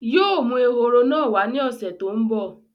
Yii o mú ehoro náà wá ní ọ̀sẹ̀ tòun bọ̀